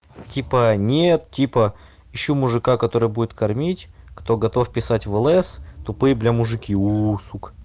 типа нет типа ищу мужика который будет кормить кто готов писать в лс тупые блядь мужики у сука